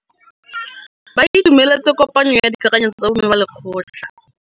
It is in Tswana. Ba itumeletse kôpanyo ya dikakanyô tsa bo mme ba lekgotla.